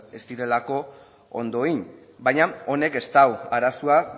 ez direlako ondo egin baina honek ez du arazoa